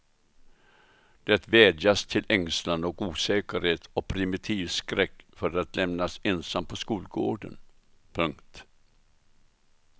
Det vädjas till ängslan och osäkerhet och primitiv skräck för att lämnas ensam på skolgården. punkt